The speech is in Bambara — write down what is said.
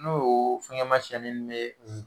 N'o fɛngɛ masina ninnu bɛ